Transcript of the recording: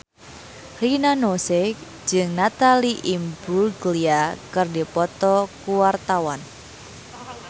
Rina Nose jeung Natalie Imbruglia keur dipoto ku wartawan